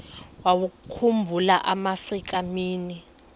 wawakhumbul amaafrika mini